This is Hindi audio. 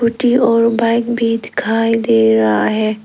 स्कूटी और बाइक भी दिखाई दे रहा है।